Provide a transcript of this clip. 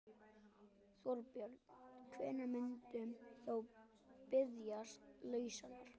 Þorbjörn: Hvenær muntu þá biðjast lausnar?